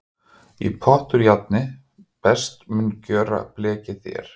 Í pott úr járni best mun gjöra blekið þér.